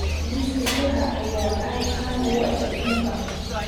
Beerista shaaha ayaa aad caan uga ah aduunka.